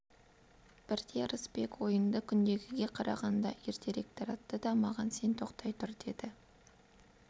бірде ырысбек ойынды күндегіге қарағанда ертерек таратты да маған сен тоқтай тұр деді